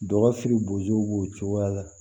Dɔgɔfiribow b'o cogoya la